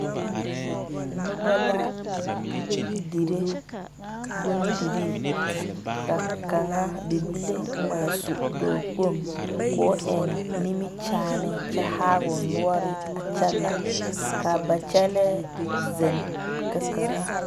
Noba la dire bondire, ba kaŋa bibile ŋmaa su dɔɔ kpoŋ ko eŋ nimikyaane a kyɛ haa o nore a kyɛla kaa ba kyɛle zeŋ ka kaŋa.